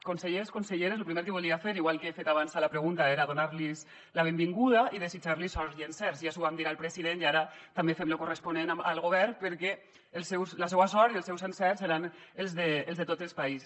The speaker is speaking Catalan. consellers conselleres lo primer que volia fer igual que he fet abans a la pregunta era donar los la benvinguda i desitjar los sort i encerts ja li ho vam dir al president i ara també fem lo corresponent amb el govern perquè la seua sort i els seus encerts seran els de tot el país